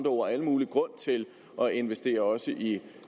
ord al mulig grund til at investere også i